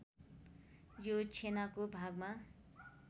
यो छेनाको भागमा